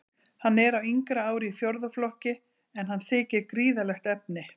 Hann er á yngra ári í fjórða flokki, en hann þykir gríðarlegt efni.